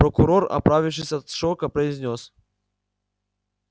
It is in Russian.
прокурор оправившись от шока произнёс